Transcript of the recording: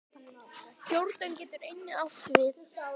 Jórdan getur einnig átt við